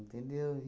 Entendeu?